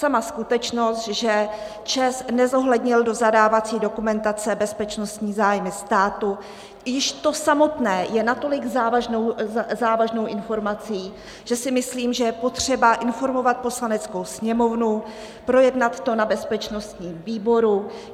Sama skutečnost, že ČEZ nezohlednil do zadávací dokumentace bezpečnostní zájmy státu, již to samotné je natolik závažnou informací, že si myslím, že je potřeba informovat Poslaneckou sněmovnu, projednat to na bezpečnostním výboru.